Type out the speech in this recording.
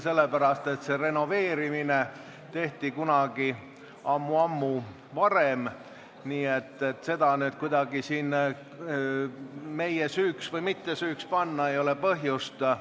Saali renoveerimine tehti kunagi ammu, nii et seda kuidagi meie süüks või mittesüüks pidada ei ole põhjust.